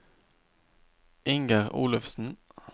Inger Olufsen